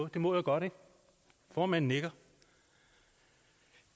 det må jeg godt formanden nikker